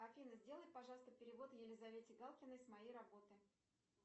афина сделай пожалуйста перевод елизавете галкиной с моей работы